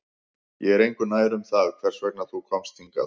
Ég er engu nær um það hvers vegna þú komst hingað